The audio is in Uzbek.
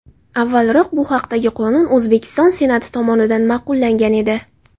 Avvalroq bu haqdagi qonun O‘zbekiston Senati tomonidan ma’qullangan edi .